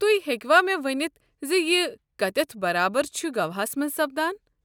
تُہۍ ہیٚکوا مےٚ ؤنِِتھ زِ یہِ کتٮ۪تھ برابر چھُ گواہَس مَنٛز سپدان؟